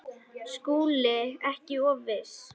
SKÚLI: Ekki of viss!